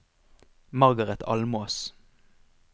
Margaret Almås